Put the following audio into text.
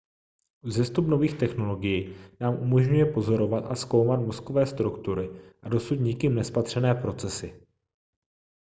vzestup nových technologií nám umožňuje pozorovat a zkoumat mozkové struktury a dosud nikým nespatřené procesy